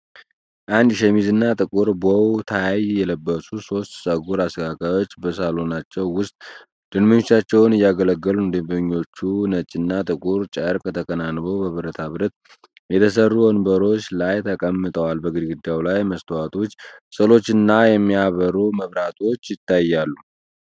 ነጭ ሸሚዝ እና ጥቁር ቦው ታይ የለበሱ ሶስት ፀጉር አስተካካዮች በሳሎናቸው ውስጥ ደንበኞቻቸውን እያገለገሉ ነው። ደንበኞቹ ነጭና ጥቁር ጨርቅ ተከናንበው በብረታ ብረት የተሰሩ ወንበሮች ላይ ተቀምጠዋል። በግድግዳው ላይ መስተዋቶች፣ ስዕሎችና የሚያበሩ መብራቶች ይታያሉ።